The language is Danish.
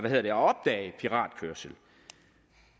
at opdage piratkørsel